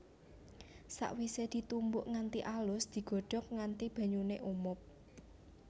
Sakwisé ditumbuk nganti alus digodhog nganti banyuné umob